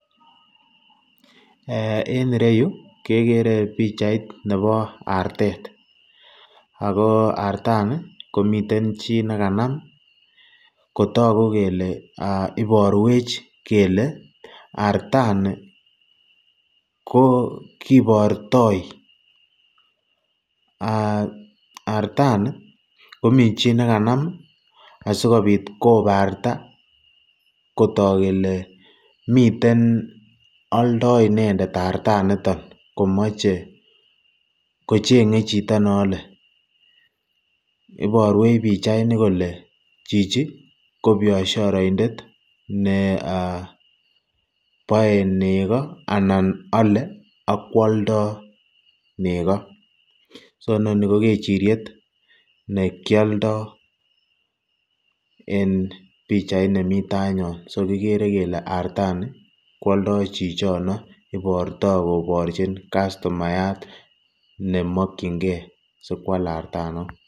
Eeh en ireyu kekere pichait nebo artet ak ko artani komiten chi nekanam kotoku kelee iborwech kelee artani ko kibortoi artani komii chi nekanam asikobit kobarta kotok kelee miten oldoii inendet artaniton komoche kochenge chito neole, iorwech pichaini kolee chichii ko bioshoroindet nee eeh boee nekoo alan kwolee ak kwoldo nekoo, so inoni ko kechiriet nekioldo en pichait nemii yainyon, so kikere kelee artani kwoldo chichono iborto koborchin customayat nemokyinge sikwal artanon .